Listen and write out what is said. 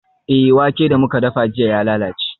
Eh, wake da muka dafa jiya ya lalace.